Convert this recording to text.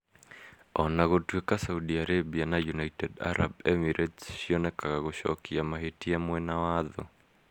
O na gũtuĩka Saudi Arabia na United Arab Emirates cionekaga gũcokia mahĩtia mwena wa thũ,